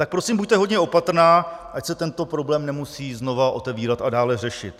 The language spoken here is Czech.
Tak prosím buďte hodně opatrná, ať se tento problém nemusí znovu otevírat a dále řešit.